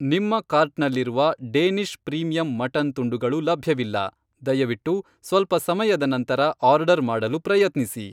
ನಿಮ್ಮ ಕಾರ್ಟ್ನಲ್ಲಿರುವ Danish premium mutton ತುಂಡುಗಳು ಲಭ್ಯವಿಲ್ಲ, ದಯವಿಟ್ಟು ಸ್ವಲ್ಪ ಸಮಯದ ನಂತರ ಆರ್ಡರ್ ಮಾಡಲು ಪ್ರಯತ್ನಿಸಿ.